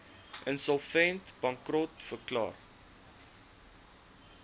insolvent bankrot verklaar